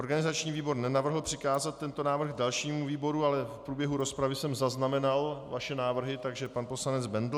Organizační výbor nenavrhl přikázat tento návrh dalšímu výboru, ale v průběhu rozpravy jsem zaznamenal vaše návrhy, takže pan poslanec Bendl.